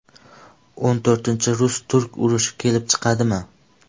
O‘n to‘rtinchi rus–turk urushi kelib chiqadimi?